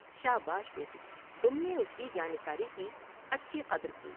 شاباش بیٹی تم نے اس کی جاں نثاری کی انچی قدر کی ۔